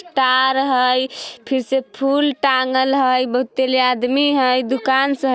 तार हई फिर से फूल टाँगल हई बहुत तले आदमी हई दुकान छे।